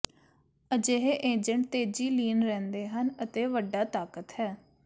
ਅਜਿਹੇ ਏਜੰਟ ਤੇਜ਼ੀ ਲੀਨ ਰਹਿੰਦੇ ਹਨ ਅਤੇ ਵੱਡਾ ਤਾਕਤ ਹੈ